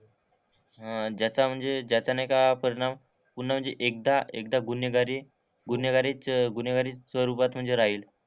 हां ज्याचा म्हणजे ज्याचा नाही का परिणाम पूर्ण म्हणजे एकदा एकदा गुन्हेगारी गुन्हेगारीचं गुन्हेगारी स्वरूपात राहील.